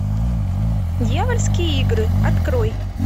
дьявольские игры открой